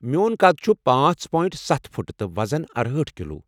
میون قد چھُ پانژھ پونٹ ستھ فُٹ تہٕ وزن ارہأٹھ کلو